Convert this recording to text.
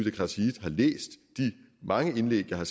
mange indlæg jeg har